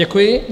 Děkuji.